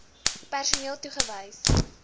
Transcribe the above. mh personeel toegewys